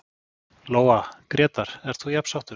Lóa: Grétar, ert þú jafn sáttur?